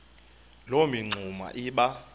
loo mingxuma iba